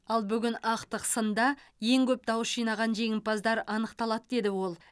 ал бүгін ақтық сында ең көп дауыс жинаған жеңімпаздар анықталады деді ол